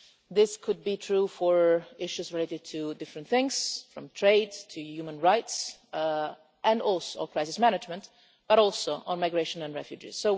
This could be true for issues related to different things, from trade to human rights and crisis management, but also on migration and refugees.